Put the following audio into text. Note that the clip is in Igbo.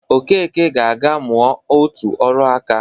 Okeke ga-aga mụa otu ọrụ nka